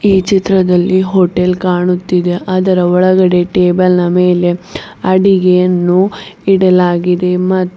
ಈ ಚಿತ್ರದಲ್ಲಿ ಹೋಟೆಲ್ ಕಾಣುತ್ತಿದೆ ಅದರ ಒಳಗಡೆ ಟೇಬಲ್ ನ ಮೇಲೆ ಅಡಿಗೆಯನ್ನು ಇಡಲಾಗಿದೆ ಮತ್ತು.